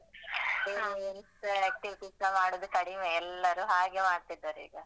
ಬೇರೆ activity ಸ ಮಾಡುದು ಕಡಿಮೆ ಎಲ್ಲರೂ ಹಾಗೇ ಮಾಡ್ತಿದ್ದಾರೆ ಈಗ.